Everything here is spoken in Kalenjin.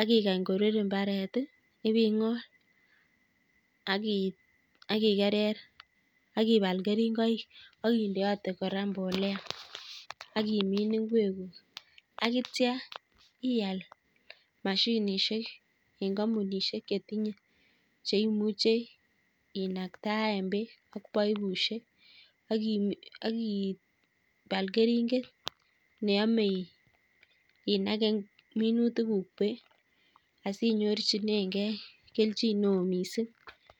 akikany korur mbaret, iping'ony akigerer, akibal keringoik, akindeate kora mbolea, akimin ngwekuuk akitcha ial mashinisiek ing' kampunisiek chetinye cheimuche inaktae peek ing' paipusiek akibal keringet neyame inage minutikuuk peek asinyorchinegei kelchinoo mising'